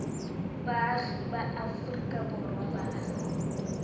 baagi ba aforika borwa ba